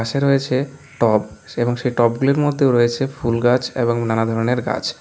পাশে রয়েছে টব সে এবং সেই টব -গুলির মধ্যেও রয়েছে ফুলগাছ এবং নানা ধরনের গাছ।